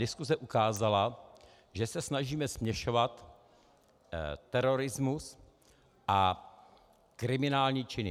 Diskuze ukázala, že se snažíme směšovat terorismus a kriminální činy.